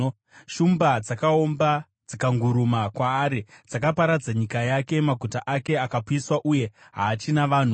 Shumba dzakaomba; dzikanguruma kwaari. Dzakaparadza nyika yake; maguta ake akapiswa uye haachina vanhu.